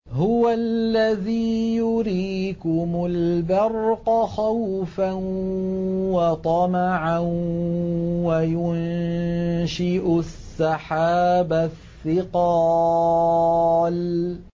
هُوَ الَّذِي يُرِيكُمُ الْبَرْقَ خَوْفًا وَطَمَعًا وَيُنشِئُ السَّحَابَ الثِّقَالَ